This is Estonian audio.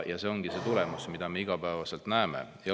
See ongi see tulemus, mida me igapäevaselt näeme.